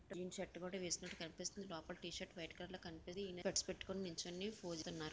Shirt కూడా వేసుకున్నట్టు కనిపిస్తుంది లోపల టీ షర్ట్ వైట్ కలర్లో కనపడి స్టెప్స్ పెట్టుకొని నుంచుని ఫోజ్ గున్నారు.